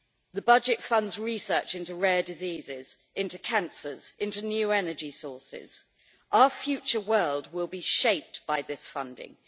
The budget funds research into rare diseases, into cancers, into new energy sources our future world will be shaped by this funding.